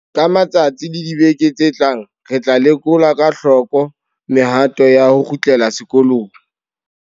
Ka matsatsi le dibeke tse tlang re tla lekola ka hloko mehato ya ho kgutlela sekolong.